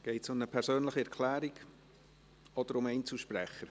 Geht es um eine persönliche Erklärung oder als Einzelsprecher?